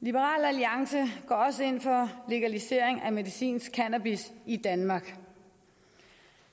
liberal alliance går også ind for legalisering af medicinsk cannabis i danmark